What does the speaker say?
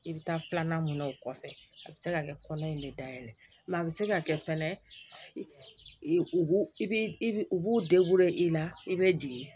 I bɛ taa filanan mun na o kɔfɛ a bɛ se ka kɛ kɔnɔ in bɛ dayɛlɛ a bɛ se ka kɛ fɛnɛ u b'u u b'u i la i bɛ jigin